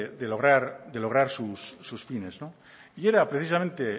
de lograr sus fines y era precisamente